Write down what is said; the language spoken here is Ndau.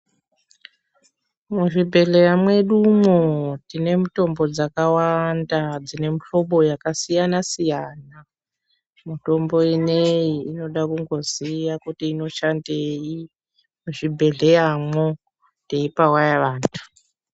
Muzvibhedhleya mwedumwo tine mutombo dzakawanda dzine muhlobo yakasiyana- siyana . Mutombo ineyi inoda kungoziya kuti inoshandei muzvibhedhleyamwo ,teipa waya vantu.